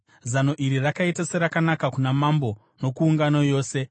Zano iri rakaita serakanaka kuna Mambo nokuungano yose.